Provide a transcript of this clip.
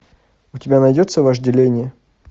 у тебя найдется вожделение